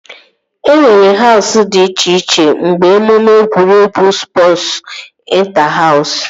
E nwere Hausụ dị iche iche mgbe emume egwuregwu spọsu ịnta-haus